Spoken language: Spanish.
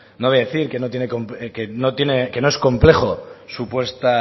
no voy a decir que no es complejo su puesta